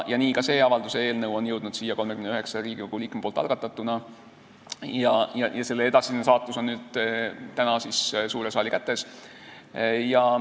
Nii on ka see avalduse eelnõu jõudnud siia 39 Riigikogu liikme algatatuna ja selle edasine saatus on täna suure saali kätes.